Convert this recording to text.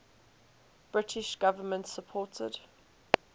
british government supported